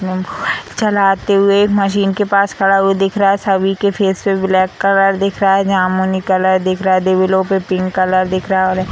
चलाते हुए मशीन के पास खड़ा हुआ दिख रहा है सभी के फेस पे ब्लैक कलर दिख रहा है जामुनी कलर दिख रहा है दीवेलों पे पिंक कलर दिख रहा है और --